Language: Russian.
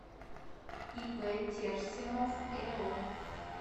ип терсенов эо